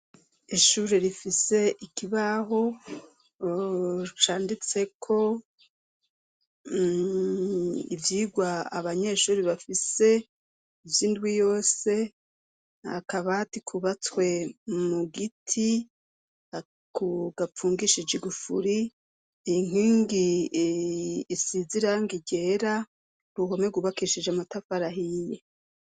Ishuri rifise ikibaho canditseko ivyirwa abanyeshuri bafise ivyo indwi yose akabati kubatswe mu giti akugapfungishijigufuri inkime ngi isiziranga ryera ruhome gubakishije amatafarahiye.